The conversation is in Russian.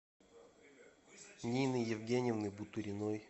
нины евгеньевны буториной